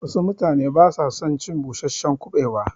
Wassu mutane basu son cin busasshen kuɓewa